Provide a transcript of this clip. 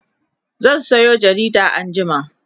zan Sayo jarida anjima